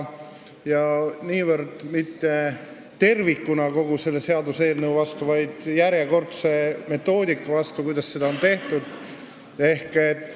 Me ei hääleta niivõrd mitte tervikuna kogu selle seaduseelnõu vastu, vaid selle metoodika vastu, kuidas seda on tehtud.